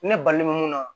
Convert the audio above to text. Ne balimamu